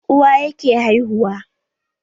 Uwaye ke haihuwa